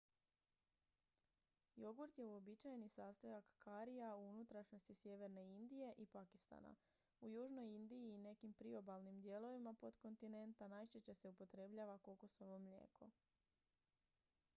jogurt je uobičajeni sastojak karija u unutrašnjosti sjeverne indije i pakistana u južnoj indiji i nekim priobalnim dijelovima potkontinenta najčešće se upotrebljava kokosovo mlijeko